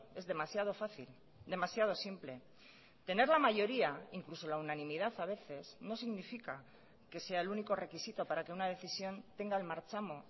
es demasiado fácil demasiado simple tener la mayoría incluso la unanimidad a veces no significa que sea el único requisito para que una decisión tenga el marchamo